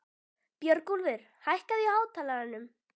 Björgúlfur, hækkaðu í hátalaranum.